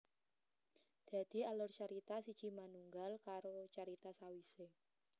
Dadi alur carita siji manunggal karo carita sawisé